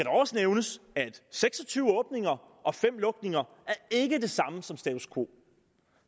også nævnes at seks og tyve åbninger og fem lukninger ikke er det samme som status quo